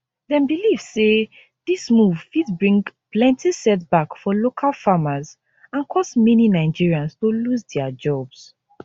dem believe say dis move fit bring plenty setback for local farmers and cause many nigerians to lose dia jobs